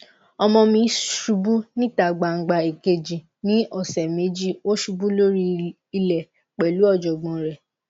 ọmọ mi ṣubú níta gbangba èkejì ní ọsẹ méjì ó ṣubú lórí ilẹ pelu ojogbon re